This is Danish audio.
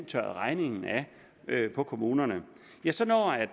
tørret regningen af på kommunerne ja så når